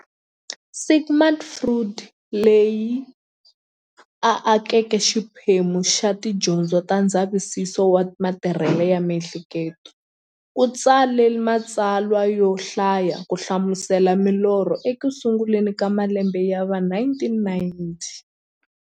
Sigmund Freud, loyi a akeke xiphemu xa tidyondzo ta ndzavisiso wa matirhele ya mi'hleketo, u tsale matsalwa yo hlaya ku hlamusela milorho eku sunguleni ka malembe ya va 1900.